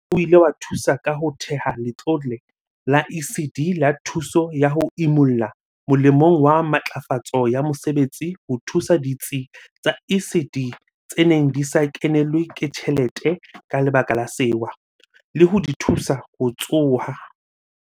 Mmuso o ile wa thusa ka ho theha Letlole la ECD la Thuso ya ho Imolla molemong wa Matlafatso ya Mosebetsi ho thusa ditsi tsa ECD tse neng di sa kenelwe ke tjhelete ka lebaka la sewa, le ho di thusa ho tsoha.